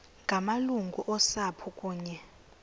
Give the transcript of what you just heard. ngamalungu osapho kunye